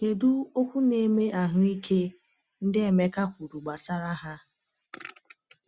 Kedu “okwu na-eme ahụ ike” ndị Emeka kwuru gbasara ha?